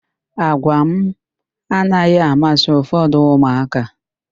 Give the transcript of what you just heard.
Àgwà anaghị amasị ụfọdụ ụmụaka.